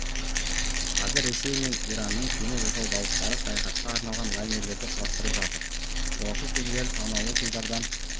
қазір ресей мен иранның кеме жасау зауыттары саяхатқа арналған лайнерлерді құрастырып жатыр жолаушы кемелері санаулы жылдардан